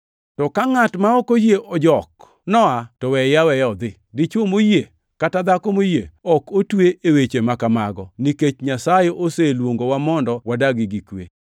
To ka ngʼat ma ok oyie ojok noa, to weye aweya odhi. Dichwo moyie kata dhako moyie ok otwe e weche ma kamago, nikech Nyasaye oseluongowa mondo wadag gi kwe.